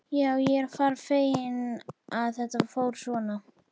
Já, ég er bara feginn að þetta fór svona.